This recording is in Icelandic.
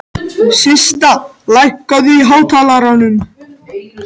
Systa, lækkaðu í hátalaranum.